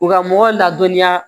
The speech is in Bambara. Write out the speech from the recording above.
U ka mɔgɔw ladɔnniya